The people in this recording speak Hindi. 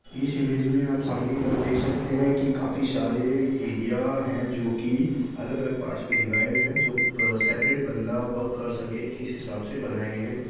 इस इमेज आप सामाने की तरफ देख सकते है की काफी सारे एरिया है जो की अलग अलग पार्ट्स में डिवाइड है जो सेपरेट बंदा वर्क कर सके इस हिसाब से बनाये गए है।